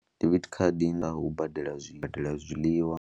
Debit card u badela zwiḽiwa.